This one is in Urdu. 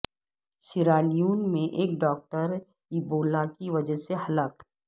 سیرالیون میں ایک ڈاکٹر ایبولا کی وجہ سے ہلاک